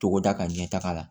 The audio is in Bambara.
Togoda ka ɲɛ taga la